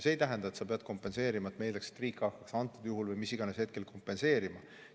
See ei tähenda, et me eeldaks, et riik hakkaks antud juhul või mis iganes hetkel kompenseerima.